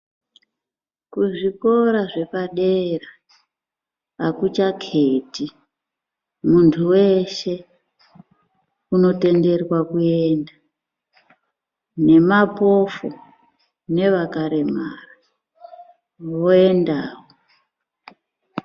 Kuzvikora zvepadera hakuchakheti. Muntu weshe unotenderwa kuenda nemapofu nevakaremara voendawo.